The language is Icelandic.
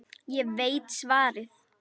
Ég veit svarið.